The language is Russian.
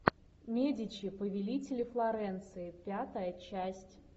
медичи повелители флоренции пятая часть